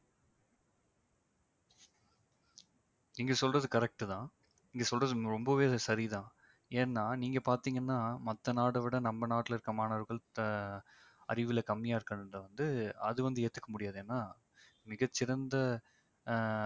நீங்க சொல்றது correct தான். நீங்க சொல்றது ரொம்பவே சரிதான் ஏன்னா நீங்க பார்த்தீங்கன்னா மத்த நாட விட நம்ம நாட்டுல இருக்கிற மாணவர்கள் த~ அறிவுல கம்மியா இருக்குதுன்றத வந்து அது வந்து ஏத்துக்க முடியாது. ஏன்னா மிகச்சிறந்த ஆஹ்